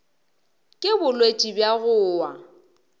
ke bolwetši bja go wa